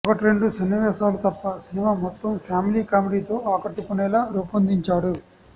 ఒకట్రెండు సన్నివేశాలు తప్ప సినిమా మొత్తం ఫ్యామిలీ కామెడీతో ఆకట్టుకునేలా రూపొందించాడు